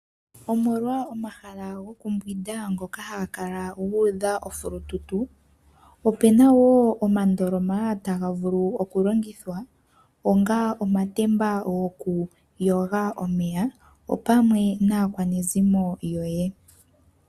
Omolwa omahala gokumbwinda ngoka haga kala gu udha ofulundundu, ope na wo omandoloma taga vulu okulongithwa onga omatemba gomeya gokuyoga omeya opamwe naakwanezimo yoye.